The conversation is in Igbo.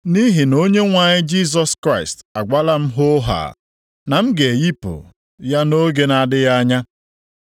Nʼihi na Onyenwe anyị Jisọs Kraịst agwala m hoohaa, na m ga-eyipụ + 1:14 Maọbụ, a ga m anwụ ya nʼoge na-adịghị anya.